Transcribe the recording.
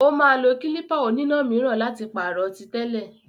Ó máa lo klípà oníná míràn láti pàrọ̀ tí tẹ́lẹ̀.